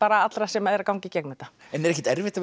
allra sem eru í ganga í gegnum þetta en er ekkert erfitt að vera